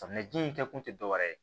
Samiya ji in kɛ kun tɛ dɔwɛrɛ ye